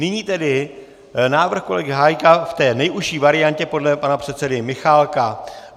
Nyní tedy návrh kolegy Hájka v té nejužší variantě podle pana předsedy Michálka.